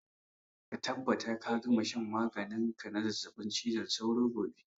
Ka tabbata ka gama shan maganin ka na zazzaɓin cizon sauro gobe!